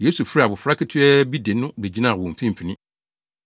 Yesu frɛɛ abofra ketewa bi de no begyinaa wɔn mfimfini.